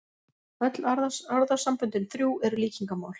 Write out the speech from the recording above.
Öll orðasamböndin þrjú eru líkingamál.